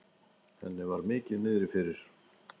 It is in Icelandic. Henni var mikið niðri fyrir.